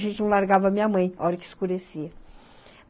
A gente não largava a minha mãe a hora que escurecia.